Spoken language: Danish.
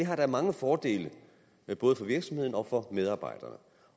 har da mange fordele både for virksomhederne og for medarbejderne